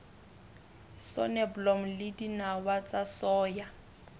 soneblomo le dinawa tsa soya